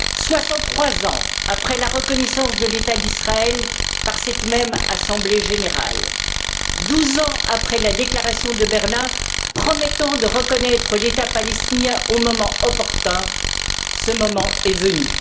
Soixante trois ans après la reconnaissance de l'État d'Israël par cette même assemblée générale, douze ans après la déclaration de Berlin promettant de reconnaître l'État palestinien au moment opportun, ce moment est venu.